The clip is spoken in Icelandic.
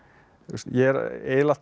ég er eiginlega alltaf